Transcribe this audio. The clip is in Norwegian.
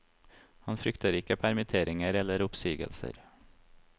Han frykter ikke permitteringer eller oppsigelser.